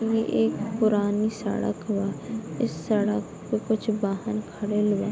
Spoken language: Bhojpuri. ई एक पुरानी सड़क बा | इस सड़क पे कुछ वाहन खड़ल बा |